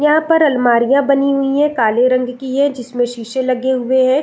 यहाँ पर आलमारियाँ बनी हुई है काले रंग की है जिसमें शीशे लगे हुए है।